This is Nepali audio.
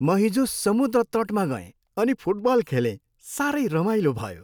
म हिजो समुद्र तटमा गएँ अनि फुटबल खेलेँ। साह्रै रमाइलो भयो।